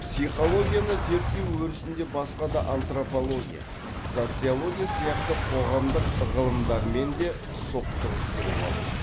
психологияны зерттеу өрісінде басқа да антропология социология сияқты қоғамдық ғылымдармен де соқтығыстыруға болады